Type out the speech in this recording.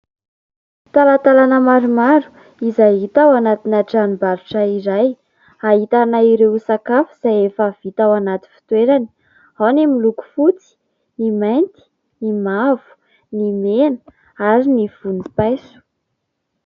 Talantalana maromaro izay hita ao anaty tranom-barotra iray ahitana ireo sakafa izay efa vita ao anaty fitoerany, ao ny miloko fotsy, ny mainty, ny mavo, ny mena ary ny volompaiso.